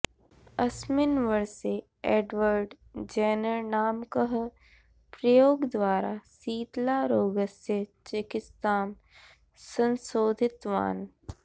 अस्मिन् वर्षे Edward Jenner नामकः प्रयोगद्वारा शीतलारोगस्य चिकित्सां संशोधितवान्